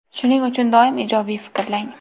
Shuning uchun doim ijobiy fikrlang.